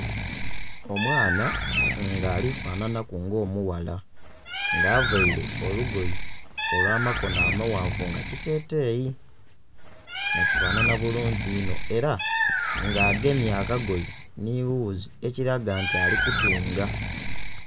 Omwaana nga alifanhanha ku nga omughala nga avaire olugoye olw'amaghanvu nga kiteteyi nga kifanhanha bulungi inho era nga agemye akagoye nhi ghuzi ekiraga nti alikutunga.